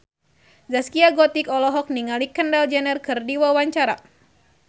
Zaskia Gotik olohok ningali Kendall Jenner keur diwawancara